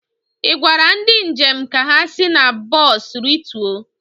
ị gwara ndị njem ka ha si na bọs rituo?